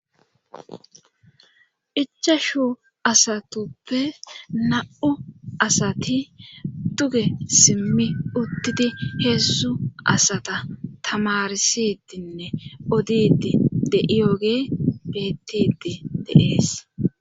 Ichashu asatuppe na'u asati tuge simmi uttidi heessu asata tamarisidinne odidi de7iyoge beettidi deees